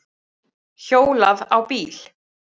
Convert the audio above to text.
Hjólaði á bíl